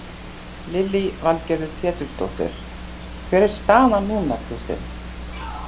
Lillý Valgerður Pétursdóttir: Hver er staðan núna Kristinn?